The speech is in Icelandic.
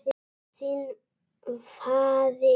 Þinn faðir.